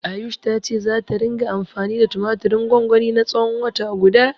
Ayush ta ce zata ringa anfani da tumatirin gwangwanin na tsawon wata guda.